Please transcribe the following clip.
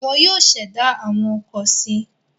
Wọn yóò ṣẹ̀dá àwọn ọkọ̀ si.